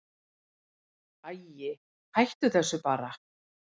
Æi, hættu þessu bara.